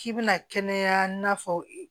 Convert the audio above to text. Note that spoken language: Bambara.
K'i bɛna kɛnɛya n'a fɔ